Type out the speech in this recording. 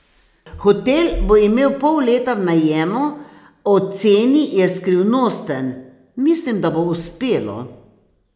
Hotel bo imel pol leta v najemu, o ceni je skrivnosten: "Mislim, da bo uspelo.